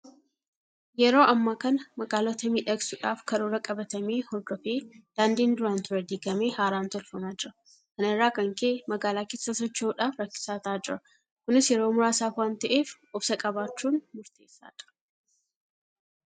Yeroo ammaa kana magaalota miidhagsuudhaaf karoora qabatame hordofee Daandiin duraan ture diigamee haaraan tolfamaa jira. Kana irraa kan ka'e magaalaa keessa socho'uudhaaf rakkisaa ta'aa jira. Kunis yeroo muraasaaf waanta'eef obsa qabaachuun murteessaadha.